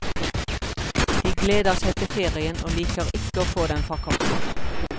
De gleder seg til ferien, og liker ikke å få den forkortet.